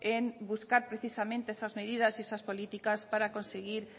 en buscar precisamente esas medidas y esas políticas para conseguir